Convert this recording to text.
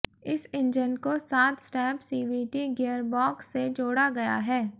इस इंजन को सात स्टेप सीवीटी गियरबॉक्स से जोड़ा गया है